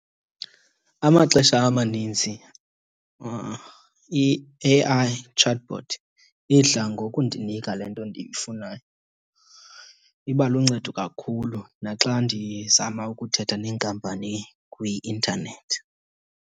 Amaxesha amaninzi i-A_I chatbot idla ngokundinika le nto ndiyifunayo. Iba luncedo kakhulu naxa ndizama ukuthetha neenkampani kwi-intanethi.